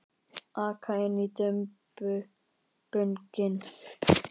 Aka inn í dumbunginn.